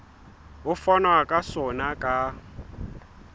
ho fanwa ka sona ka